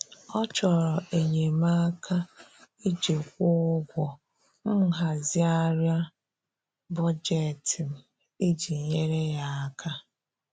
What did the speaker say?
Ọ chọrọ enyemaka iji kwụọ ụgwọ, m hazigharịa bọjetị m iji nyere ya aka.